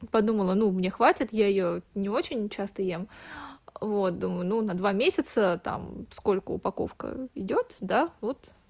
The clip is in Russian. подумала ну мне хватит я её не очень часто ем вот думаю ну на два месяца там сколько упаковка идёт да вот